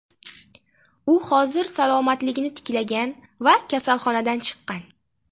U hozir salomatligini tiklagan va kasalxonadan chiqqan.